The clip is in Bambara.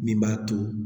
Min b'a to